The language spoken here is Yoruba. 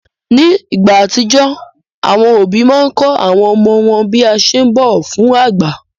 Nígbà àtijó, àwọn òbí máa n kọ́ àwọn ọmọ wọn bí a ṣe ún bọ̀wọ̀ fágbà.